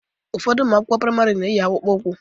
Ụfọdụ ụmụ akwụkwọ praịmarị na-eyi akpụkpọ ụkwụ